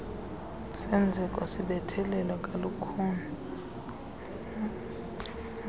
senzeko sibethelelwa kalukhuni